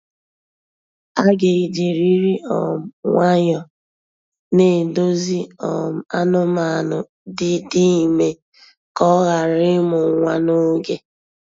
A ga ejirịrị um nwayọọ na-edozi um anụmanụ dị dị ime ka ọ ghara ịmụ nwa n'oge.